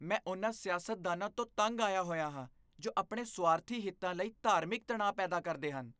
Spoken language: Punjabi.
ਮੈਂ ਉਨ੍ਹਾਂ ਸਿਆਸਤਦਾਨਾਂ ਤੋਂ ਤੰਗ ਆਇਆ ਹੋਇਆ ਹਾਂ ਜੋ ਆਪਣੇ ਸੁਆਰਥੀ ਹਿੱਤਾਂ ਲਈ ਧਾਰਮਿਕ ਤਣਾਅ ਪੈਦਾ ਕਰਦੇ ਹਨ।